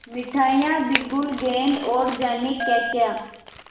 मिठाइयाँ बिगुल गेंद और जाने क्याक्या